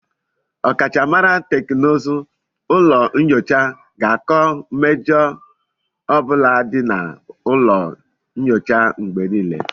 Ọkachamara teknụzụ ụlọ nyocha ga-akọ mmejọ ọ bụla dị na ụlọ nyocha mgbe nílé